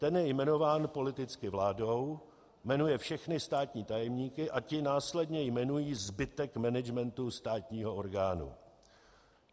Ten je jmenován politicky vládou, jmenuje všechny státní tajemníky a ti následně jmenují zbytek managementu státního orgánu.